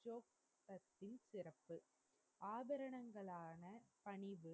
சிறப்பு ஆபரனகலான பணிவு